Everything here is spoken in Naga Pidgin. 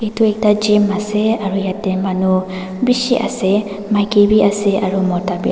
Etu ekta gym ase aro yateh manu beshi ase maiki bhi ase aro mota bhi a--